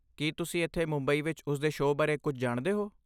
ਕੀ ਤੁਸੀਂ ਇੱਥੇ ਮੁੰਬਈ ਵਿੱਚ ਉਸਦੇ ਸ਼ੋਅ ਬਾਰੇ ਕੁਝ ਜਾਣਦੇ ਹੋ?